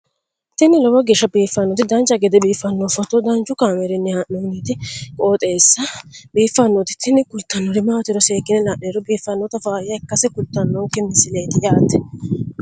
tini lowo geeshsha biiffannoti dancha gede biiffanno footo danchu kaameerinni haa'noonniti qooxeessa biiffannoti tini kultannori maatiro seekkine la'niro biiffannota faayya ikkase kultannoke misileeti yaate